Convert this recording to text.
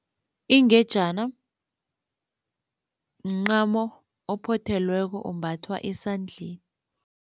Ingejana mncamo ophothelweko ombathwa esandleni.